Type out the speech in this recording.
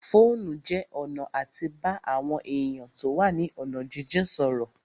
Fóònù jẹ́ ọ̀nà àti bá àwọn èèyàn tó wà ní ọ̀nà jínjìn sọ̀rọ̀